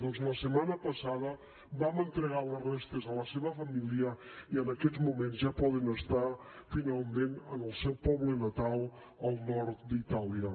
doncs la setmana passada vam entregar les restes a la seva família i en aquests moments ja poden estar finalment en el seu poble natal al nord d’itàlia